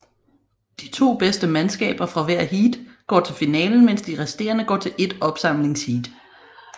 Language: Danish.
De to bedste mandskaber fra hvert heat går til finalen mens de resterende går til ét opsamlingsheat